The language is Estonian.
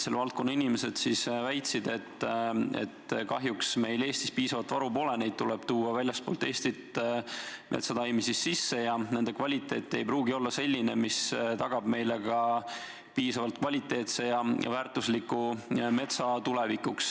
Selle valdkonna inimesed väitsid, et kahjuks meil Eestis piisavat varu pole, tuleb tuua väljastpoolt Eestit metsataimi sisse ja nende kvaliteet ei pruugi olla selline, mis tagab meile tulevikus piisavalt kvaliteetse ja väärtusliku metsa.